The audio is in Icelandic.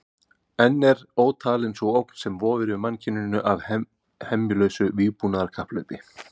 Enn er ótalin sú ógn sem vofir yfir mannkyninu af hemjulausu vígbúnaðarkapphlaupi.